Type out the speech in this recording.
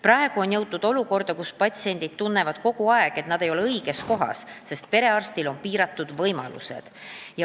Praegu on jõutud olukorda, kus patsiendid tunnevad kogu aeg, et nad ei ole õiges kohas, sest perearstil on piiratud võimalused.